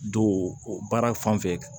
Don baara fan fɛ